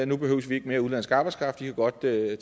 nu behøver vi ikke mere udenlandsk arbejdskraft i kan godt tage